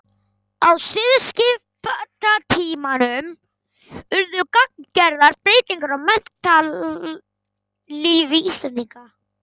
Á siðskiptatímanum urðu gagngerðar breytingar á menntalífi Íslendinga.